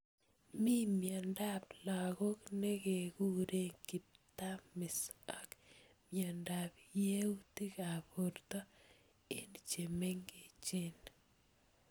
Mi mnyendo ab lakok nekekure kiptamis ak mnyendo ab yautik ab borto eng chemengech.